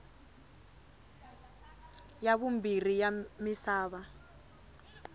ya vumbirhi ya misava